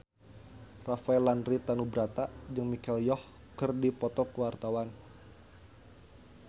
Rafael Landry Tanubrata jeung Michelle Yeoh keur dipoto ku wartawan